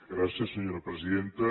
gràcies senyora presidenta